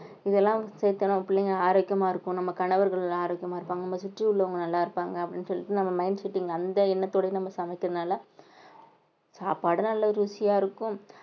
இதெல்லாம் சேர்த்து நம்ம பிள்ளைங்க ஆரோக்கியமா இருக்கும் நம்ம கணவர்கள் ஆரோக்கியமா இருப்பாங்க நம்மை சுற்றி உள்ளவங்க நல்லா இருப்பாங்க அப்படின்னு சொல்லிட்டு நம்ம mind setting அந்த எண்ணத்தோடயே நம்ம சமைக்கிறதுனால சாப்பாடும் நல்ல ருசியா இருக்கும்